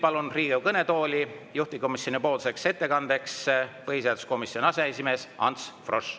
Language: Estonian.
Palun Riigikogu kõnetooli juhtivkomisjoni ettekandeks põhiseaduskomisjoni aseesimehe Ants Froschi.